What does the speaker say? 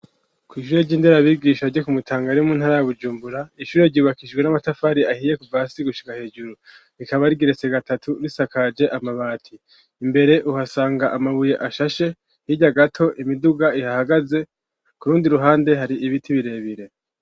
Kw'ishure ry'inderabigisha ryo ku mutangaremu ntarabujumbura ishure ryubakishijwe n'amatafari ahiye kuva hasi gushika hejuru, rikaba rigeretse gatatu risakaje amabati, imbere uhasanga amabuye ashashe hirya gato imiduga ihahagaze kurundi ruhande hari ibiti birebire.